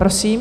Prosím.